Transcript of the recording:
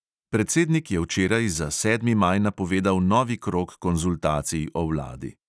Predsednik je včeraj za sedmi maj napovedal novi krog konzultacij o vladi.